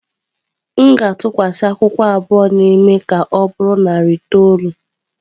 M ga-atụkwasị akwụkwọ abụọ na-eme ka ọ bụrụ narị itoolu.